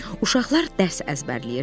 Uşaqlar dərs əzbərləyirdilər.